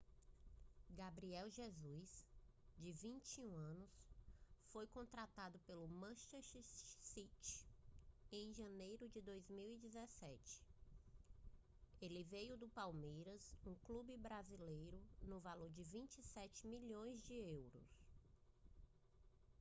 gabriel jesus de 21 anos foi contratado pelo manchester city em janeiro de 2017 ele veio do palmeiras um clube brasileiro no valor de 27 milhões de euros